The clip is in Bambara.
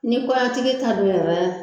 Ni kɔɲɔntigi ta don yɛrɛ